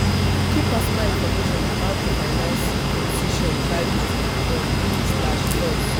keep personal information about di finances decisions private from in-laws